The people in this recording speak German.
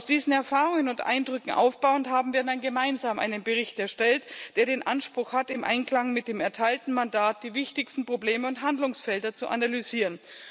Auf diesen Erfahrungen und Eindrücken aufbauend haben wir dann gemeinsam einen Bericht erstellt, der den Anspruch hat, im Einklang mit dem erteilten Mandat die wichtigsten Probleme und Handlungsfelder zu analysieren.